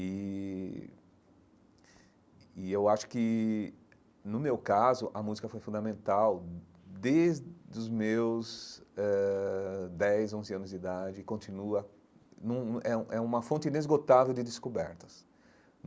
E e eu acho que, no meu caso, a música foi fundamental desde os meus ãh dez, onze anos de idade e continua... É é uma fonte inesgotável de descobertas.